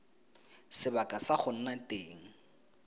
sebaka sa go nna teng